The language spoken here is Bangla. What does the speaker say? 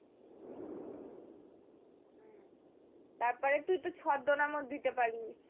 তারপরে তুই তো ছদ্মনামও দিতে পারবি।